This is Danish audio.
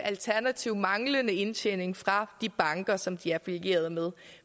alternativ manglende indtjening fra de banker som de er affilieret med